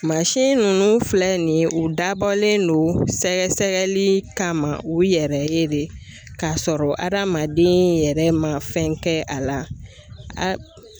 Mansin nunnu filɛ nin ye u dabɔlen don sɛgɛsɛgɛli kama u yɛrɛ ye de k'a sɔrɔ adamaden yɛrɛ ma fɛn kɛ a la